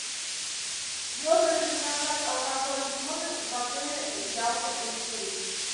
можно ли заказать алкоголь в номер в отеле ялта интурист